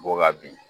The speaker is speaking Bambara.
B'o ka bin